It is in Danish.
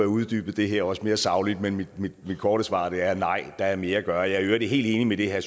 uddybet det her også mere sagligt men mit korte svar er nej der er mere at gøre jeg er i øvrigt helt enig med det herre